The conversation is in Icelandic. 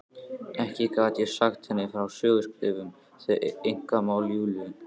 Ekki gat ég sagt henni frá söguskrifum, þau einkamál Júlíu.